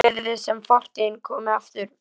Svo virðist sem fortíðin komi aftur.